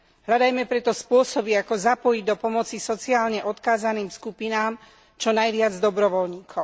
Hľadajme preto spôsoby, ako zapojiť do pomoci sociálne odkázaným skupinám čo najviac dobrovoľníkov.